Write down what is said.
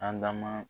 An da ma